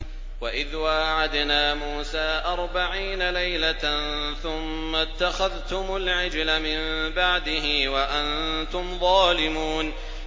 وَإِذْ وَاعَدْنَا مُوسَىٰ أَرْبَعِينَ لَيْلَةً ثُمَّ اتَّخَذْتُمُ الْعِجْلَ مِن بَعْدِهِ وَأَنتُمْ ظَالِمُونَ